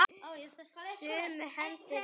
Sumu hendum við bara.